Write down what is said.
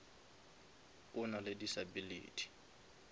o nale disability